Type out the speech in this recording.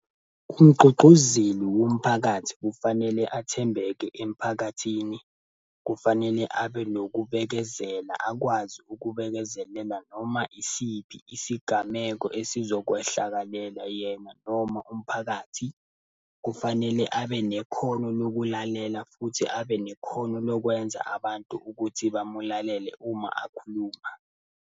Umgqugquzeli womphakathi kufanele athembeke emphakathini, kufanele abe nokubekezela akwazi ukubekezelela noma isiphi isigameko esizokwehlakalela yena noma umphakathi. Kufanele abe nekhono lokulalela futhi abe nekhono lokwenza abantu ukuthi bamulalele uma akhuluma.